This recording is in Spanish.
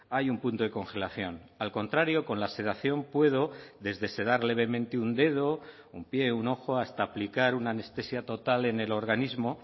hay un punto de congelación al contrario con la sedación puedo desde sedar levemente un dedo un pie un ojo hasta aplicar una anestesia total en el organismo